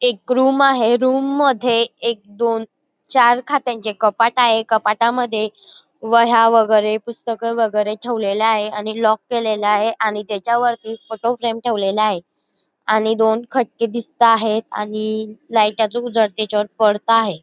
एक रूम आहे रूम मध्ये एक दोन चार खात्यांचे कपाट आहे कपाटामध्ये वह्या वगैरे पुस्तके वगैरे ठेवलेले आहे आणि लॉक केलेले आहे आणि त्याच्यावर फोटो फ्रेम ठेवलेला आहे आणि दोन खटके दिसता आहेत आणि लाईटचा उजेड त्याच्यावर पडत आहे.